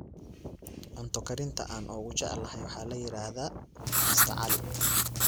Cunto karinta aan ugu jeclahay waxaa la yiraahdaa Mr. Ali